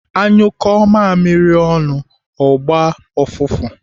À nyụkụọ mamiri ọnụ, ọ ga-agba ụfụfụ.